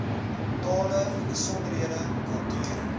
tale besondere kulture